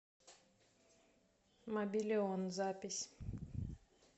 мобилион запись